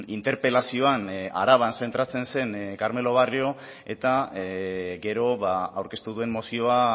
interpelazioan araban zentratzen zen carmelo barrio eta gero aurkeztu duen mozioa